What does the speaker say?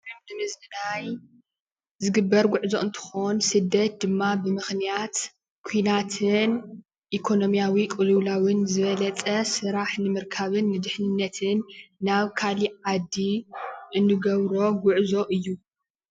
ቱሪዝም ንምዝንናይ ዝግበር ጉዕዞ እንትኾን ስደት ድማ ብምክንያት ኩናትን ኢኮኖምያዊ ቅልዉላዉን ዝበለፀ ስራሕ ንምርካብን ንድሕንነትን ናብ ካሊእ ዓዲ እንገብሮ ጉዕዞ እዪ ።